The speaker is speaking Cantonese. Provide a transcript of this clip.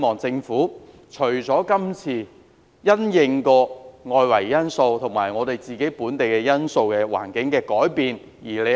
政府這次因應外圍環境及本地因素而作出這項調整。